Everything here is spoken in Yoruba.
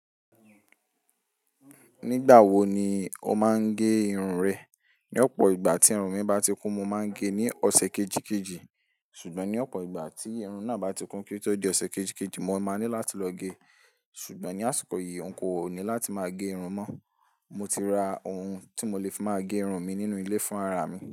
Nígbà wo ni o máa ń gẹ irun rẹ? Ní ọ̀pọ̀ ìgbà tí irun mi bá ti kún, mo máa ń gẹ ní ọ̀sẹ̀ kejì kejì. Sùgbọ́n ní ọ̀pọ̀ ìgbà tí irun náà bá ti kún kí ó di ọ̀sẹ̀ kejì kejì, mó máa ní láti lọ gẹ. Sùgbọ́n ní àsìkò yìí, nkò ní láti máa gẹ irun mọ. Mo ti ra ohun tí mo lè fi máa gẹ irun mi nínú ilé fún ara mi.